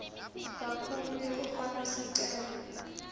kakhulu yekufaka sicelo